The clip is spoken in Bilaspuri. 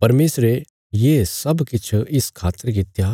परमेशरे ये सब किछ इस खातर कित्या